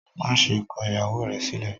Maṣe kọ ìyàwó rẹ sílẹ!